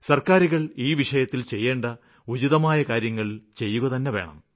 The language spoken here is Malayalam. സര്ക്കാരുകള് ഈ വിഷയത്തില് ചെയ്യേണ്ട ഉചിതമായ കാര്യങ്ങള് ചെയ്യുകതന്നെ വേണം